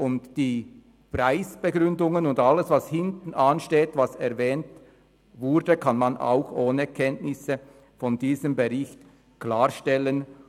Und die Preisbegründungen und alles, was hintenansteht, das erwähnt wurde, kann man auch ohne Kenntnisse von diesem Bericht klarstellen.